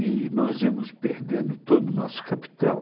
E nós íamos perdendo todo o nosso capital.